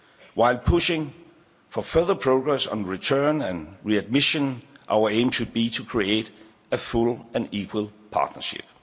While pushing for further progress on return and readmission, our aim should be to create a full and equal partnership.